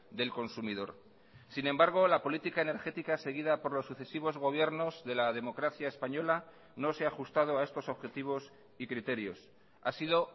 del consumidor sin embargo la política energética seguida por los sucesivos gobiernos de la democracia española no se ha ajustado a estos objetivos y criterios ha sido